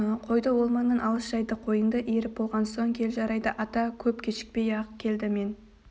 қойды ол маңнан алыс жайдық қойыңды иіріп болған соң кел жарайды ата көп кешікпей-ақ келді мен